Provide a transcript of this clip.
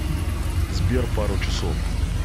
сбер пару часов